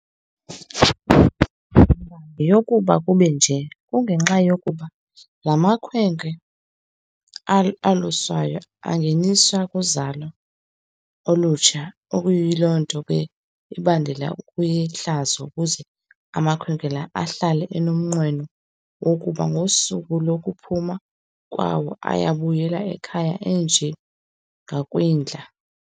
yeyokuba kube nje, kungenxeni yokuba laa makhwenkwe aluswayo angeniswa kuzalo olutsha ekuyiloo nto ke bandulelayo ukuzihlaziya, ukuze amakhwenkwe la ahlale enomnqweno wokuba ngosuku lokuphuma kwawo, ayakubuyela ekhaya enje ngokwindla.